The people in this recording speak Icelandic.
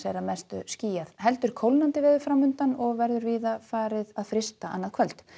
að mestu skýjað heldur kólnandi veður framundan og verður víða farið að frysta annað kvöld